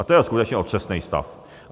A to je skutečně otřesný stav.